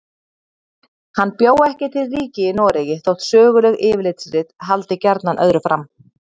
Hann bjó ekki til ríki í Noregi þótt söguleg yfirlitsrit haldi gjarnan öðru fram.